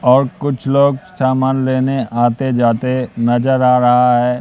और कुछ लोग सामान लेने आते जाते नजर आ रहा है।